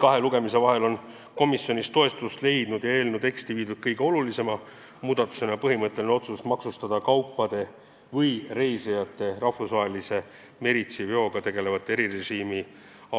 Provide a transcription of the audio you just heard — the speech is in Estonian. Kahe lugemise vahel on komisjonis toetust leidnud ja eelnõu teksti viidud kõige olulisema muudatusena põhimõtteline otsus maksustada kaupade või reisijate rahvusvahelise meritsiveoga tegelevatel erimaksurežiimi